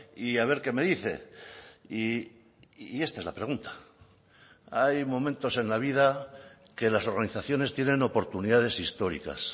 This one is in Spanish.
y a ver qué me dice y esta es la pregunta hay momentos en la vida que las organizaciones tienen oportunidades históricas